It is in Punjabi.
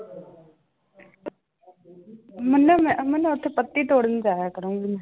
ਮੰਨੇ ਮੈਂ ਮੰਨੇ ਉੱਥੇ ਪੱਤੀ ਤੋੜਨ ਜਾਇਆ ਕਰੂੰਗੀ ਮੈਂ।